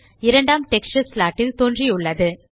இரண்டாம் texture slot ல்தோன்றியுள்ளது